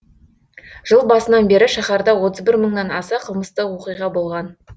жыл басынан бері шаһарда отыз бір мыңнан аса қылмыстық оқиға болған